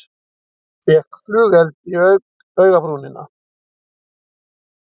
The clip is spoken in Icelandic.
Fékk flugeld í augabrúnina